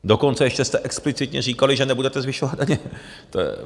Dokonce ještě jste explicitně říkali, že nebudete zvyšovat daně.